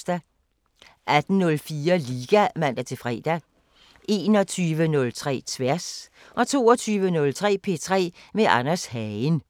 18:04: Liga (man-fre) 21:03: Tværs 22:03: P3 med Anders Hagen